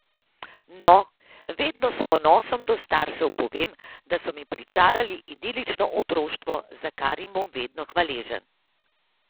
No, vedno s ponosom do staršev povem, da so mi pričarali idilično otroštvo, za kar jim bom vedno hvaležen.